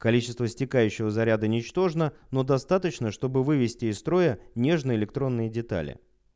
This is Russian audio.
количество стекающего заряда ничтожно но достаточно чтобы вывести из строя нежные электронные детали